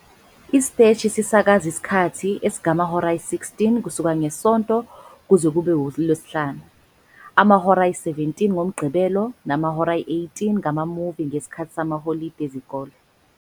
isiteshi sisakaza isikhathi esingamahora ayi-16 kusuka ngeSonto kuze kube uLwesihlanu, amahora ayi-17 ngoMgqibelo namahora ayi-18 ngama-movie ngesikhathi samaholide ezikole.